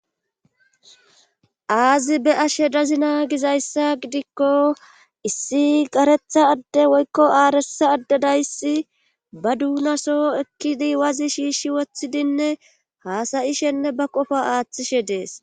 aazi be ashe dazina gizayssa gidikko issi karetha adde woykko aaresa addedayssi ba duunasoo ekkidi wazi shiishshi woththidinne haasa'ishenne ba qofo aaththishe dees